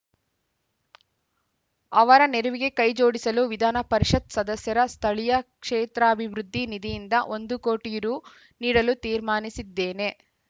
ಅವರ ನೆರವಿಗೆ ಕೈ ಜೋಡಿಸಲು ವಿಧಾನಪರಿಷತ್‌ ಸದಸ್ಯರ ಸ್ಥಳೀಯ ಕ್ಷೇತ್ರಾಭಿವೃದ್ಧಿ ನಿಧಿಯಿಂದ ಒಂದು ಕೋಟಿ ರು ನೀಡಲು ತೀರ್ಮಾನಿಸಿದ್ದೇನೆ